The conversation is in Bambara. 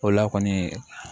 O la kɔni